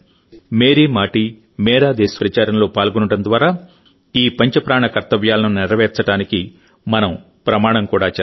Mary Maati Mera Desh ప్రచారంలో పాల్గొనడం ద్వారాఈ పంచ ప్రాణకర్తవ్యాలను నెరవేర్చడానికి మనం ప్రమాణం కూడా చేస్తాం